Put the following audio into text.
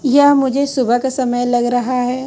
यह मुझे सुबह का समय लग रहा है।